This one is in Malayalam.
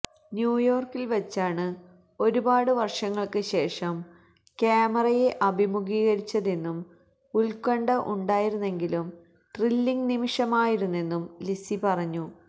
ന്യൂയോർക്കിൽവച്ചാണ് ഒരുപാട് വർഷങ്ങൾക്ക് ശേഷം ക്യാമറയെ അഭിമുഖീകരിച്ചതെന്നും ഉത്കണ്ഠ ഉണ്ടായിരുന്നെങ്കിലും ത്രില്ലിങ് നിമിഷമായിരുന്നെന്നും ലിസി പറഞ്ഞു